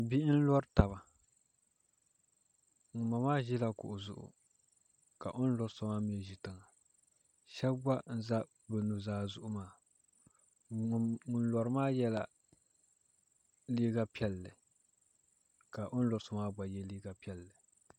Bihi n lori taba ŋunboŋo maa ʒila kuɣu zuɣu ka o ni lori so maa mii ʒi tiŋa shab gba n ʒɛ bi nuzaa zuɣu maa ŋun lori maa yɛla liiga piɛlli ka o ni lori so maa gba yɛ liiga piɛlli